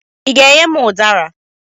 Ị ga-enye m ụdara?